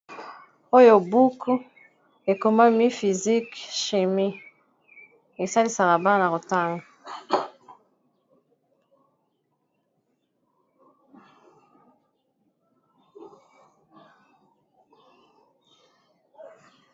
Oyo buku ekomami physique chimie esalisaka bana kotanga